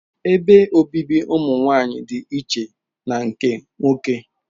Ebe obibi ụmụ nwanyị dị iche na nke nwoke